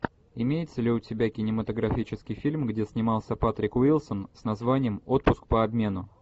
имеется ли у тебя кинематографический фильм где снимался патрик уилсон с названием отпуск по обмену